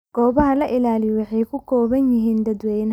Goobaha la ilaaliyo waxay ku kooban yihiin dadweynaha.